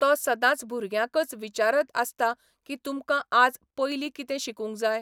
तो सदाच भुरग्यांकच विचारत आसता की तुमकां आज पयलीं कितें शिकूंक जाय.